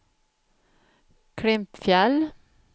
Klimpfjäll